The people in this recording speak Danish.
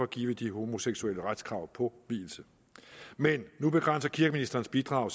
give de homoseksuelle retskrav på vielse men nu begrænser kirkeministerens bidrag